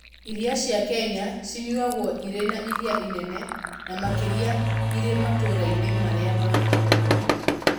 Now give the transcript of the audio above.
Iria cia Kenya cianyuagwo irĩ na iria inene, na makĩria irĩ matũũra-inĩ marĩa ma rũgongo.